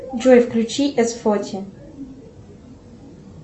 джой включи эс фоти